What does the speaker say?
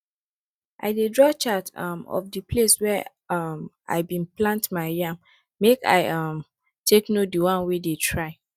i dey draw chart um of di place where um i bin plant my yam make i um take know di one wey dey try